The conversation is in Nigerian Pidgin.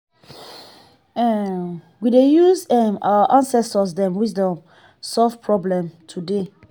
um we dey use um our ancestor dem wisdom solve problem today